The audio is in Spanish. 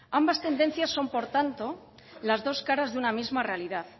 ambas tendencias son por tanto las dos caras de una misma realidad